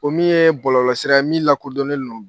O min ye bɔlɔlɔsira ye min lakodɔnnen lon